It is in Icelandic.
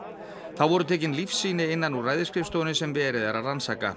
þá voru tekin líffsýni innan úr ræðisskrifstofunni sem verið er að rannsaka